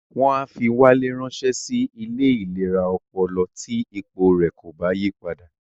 Wọ́n á fi Wálé ránsẹ́ sí ilé ìlera ọpọlọ tí ipò rẹ̀ kò bá yí padà